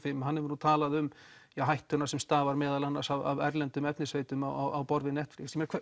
fimm hefur talað um hættuna sem stafar af erlendum efnisveitum á borð við Netflix